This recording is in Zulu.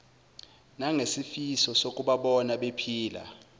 nangesifiso sokubabona bephila